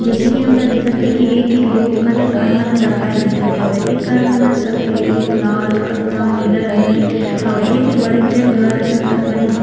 जइसे की हमला दिखत हे की ए तीर बहुत कनले कार मन ह राखए दिखत हवय ए कार मन ह सफ़ेद लाल कत्था नीला रंग के हवय ए तीर बड़ेक जन घर असन तक बने दिखत --